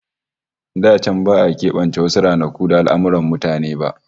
Da can ba'a kebance wasu ranaku da al'amurran mutane ba